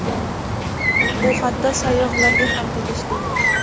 Bu hatto sayyohlarga ham tegishli.